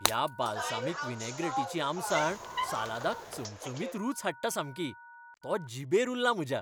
ह्या बालसामीक विनॅग्रॅटीची आमसाण सालादाक चमचमीत रूच हाडटा सामकी. तो जिबेर उरला म्हज्या !